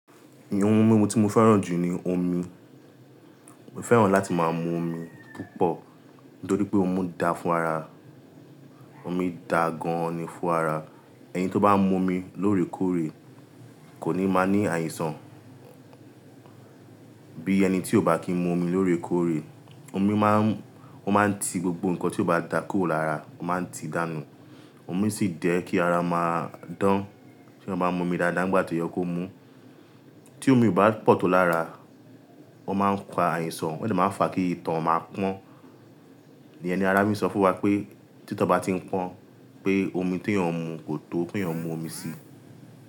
Ìyẹn ohun mímu tí mo fẹ́ràn jù ni omi. Mo fẹ́ràn láti máa mu omi púpọ̀ nítorí pé ómu daà fún ara. Omi dà gan-an ni fún ara. Ẹni tó bá mu omi lóore kóòré kò ní máa ní àìsàn bí ẹni tí ò bá kí n mu omi lóore kóòré. Omi má ń, ó máa ń ti gbogbo nǹkan tí ó bá dà kúrò lára, ó máa ń ti dànù. Omi sì jẹ́ kí ara máa dán. Tí eeyan bá n mu omi dáadáa nígbà tó yẹ kó mú, tí omi ò bá pọ̀ tó lára, ó máa ń fa àìsàn, o de máa ń fa kí ito máa pọ́n. Ìyen ni ará fi n sọ fún wa pé tí ito ba ti ń pọ́n pé omi tí eeyan n mu kò tó, ki eeyan mu omi sí.